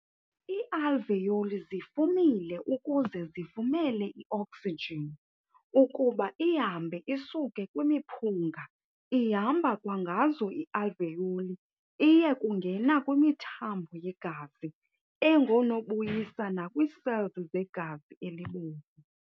Ii-alveoli zifumile ukuze zivumele i-oksijini ukuba ihambe isuke kwimiphunga ihamba kwangazo ii-alveoli iye kungena kwimithambo yegazi engoonobuyisa nakwii-cells zegazi elibomvu.